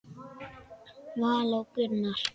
Vala og Gunnar.